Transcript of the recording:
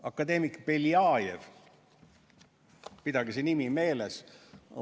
Akadeemik Beljajev – pidage see nimi meeles!